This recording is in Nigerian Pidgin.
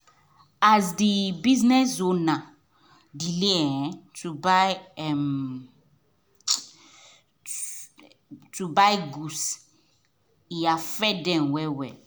as the business owner delay um to um buy um goods e affect them well well